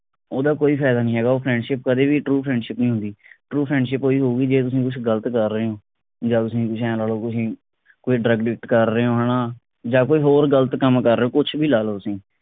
ਉੱਦਾਂ ਕੋਈ ਫਾਇਦਾ ਨਹੀ ਹੈਗਾ ਉਹ friendship ਕਦੇ ਵੀ true friendship ਨਹੀ ਹੁੰਦੀ true friendship ਉਹੀ ਹੋਉਗੀ ਜੇ ਤੁਸੀ ਕੁਝ ਗਲਤ ਕਰ ਰਹੇ ਓ ਜਾਂ ਤੁਸੀ ਕੁਛ ਐ ਲਾ ਲੋ ਤੁਸੀ ਕੋਈ drug addict ਕਰ ਰਹੇ ਓ ਹਣਾ ਜਾਂ ਕੋਈ ਹੋਰ ਗਲਤ ਕੰਮ ਕਰ ਰਹੇ ਓ ਕੁਛ ਵੀ ਲਾ ਲੋ ਤੁਸੀ